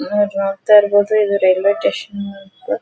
ನೀವ್ ಇಲ್ಲಿ ನೋಡ್ತಾ ಇರಬಹುದು ಇದು ರೈಲ್ವೆ ಸ್ಟೇಷನ್ ಅಂತ--